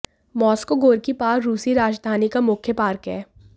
Moscow Gorky park रूसी राजधानी का मुख्य पार्क है